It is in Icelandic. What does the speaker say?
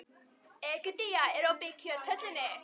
Egedía, er opið í Kjöthöllinni?